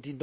din